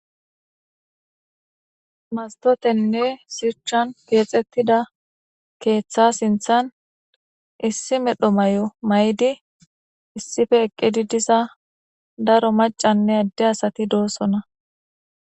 Mastotenne shuchan kexetida ketha sintan issi medho may'o may'idi issipe eqidi diza daro mac'ane ade asati dosona.